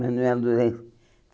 Manuel Durães.